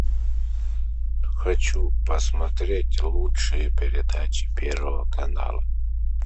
хочу посмотреть лучшие передачи первого канала